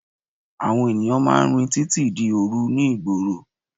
Àwọn ènìyàn máà ń rìn títí di òru ní ìgboro.